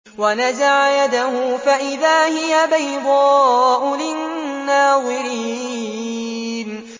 وَنَزَعَ يَدَهُ فَإِذَا هِيَ بَيْضَاءُ لِلنَّاظِرِينَ